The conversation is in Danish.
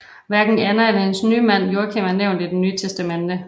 Hverken Anna eller hendes mand Joachim er nævnt i Det nye testamente